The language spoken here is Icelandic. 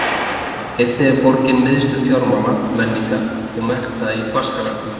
Einnig er borgin miðstöð fjármála, menningar og mennta í Baskalandi.